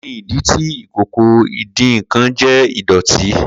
Kini idi ti ìkòkò ìdín-nnkan jẹ idọti?